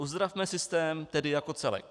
Uzdravme systém tedy jako celek.